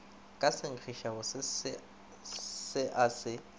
ka senkgišabose se a se